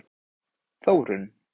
Þórunn